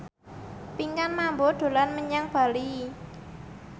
Pinkan Mambo dolan menyang Bali